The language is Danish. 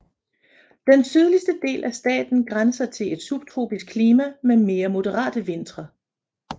Den sydligste del af staten grænser til et subtropisk klima med mere moderate vintre